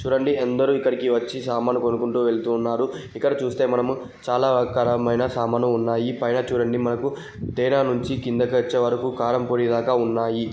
చూడండి అందరూ ఇక్కడికి వచ్చి సామాను కొనుక్కుంటూ వెళ్తున్నారు. ఇక్కడ చూస్తే మనము చాలా రకాలైన సామాన్లు ఉన్నాయి. పైన చూడండి మనకు తేనె నుంచి కిందకు వచ్చేవరకు కారంపొడి దాకా ఉన్నాయి.